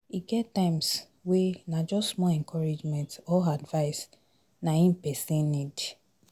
E get times wey na just small encouragement or advise na em pesin need